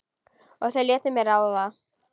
Og þau létu mig ráða.